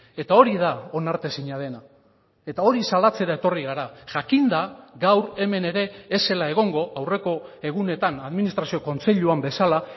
eta hori da onartezina dena eta hori salatzera etorri gara jakinda gaur hemen ere ez zela egongo aurreko egunetan administrazio kontseiluan bezala